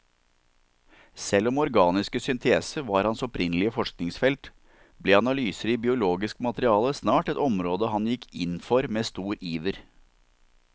Selv om organiske synteser var hans opprinnelige forskningsfelt, ble analyser i biologisk materiale snart et område han gikk inn for med stor iver.